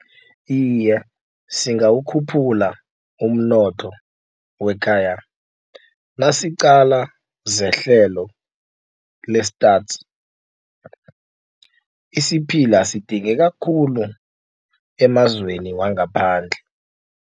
Iye, singawukhuphula umnotho wekhaya. Nasiqala zehlelo le-Stats isiphila sidingeka khulu emazweni wangaphandle.